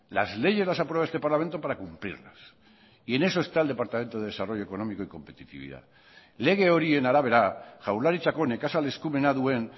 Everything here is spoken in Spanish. las leyes las aprueba este parlamento para cumplirlas y en eso está el departamento de desarrollo económico y competitividad lege horien arabera jaurlaritzako nekazal eskumena duen